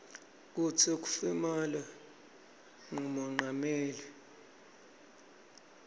kutsi ukif imaba nqumonqameli